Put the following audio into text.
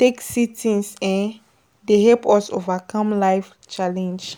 take see things um dey help us overcome life challenge